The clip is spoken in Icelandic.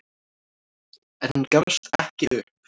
En hún gafst ekki upp.